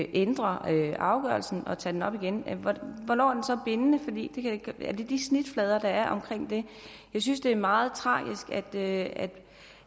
ændre afgørelsen og tage den op igen hvornår er den så bindende er det de snitflader der er omkring det jeg synes det er meget tragisk at